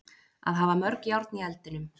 Að hafa mörg járn í eldinum